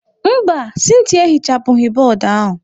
Mba, Cynthia ehichapụghị bọọdụ ahụ.